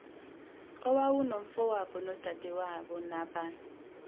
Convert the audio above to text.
owawunomfowabo nodadewabo naba